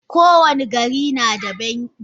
Ko wani gari nada banki.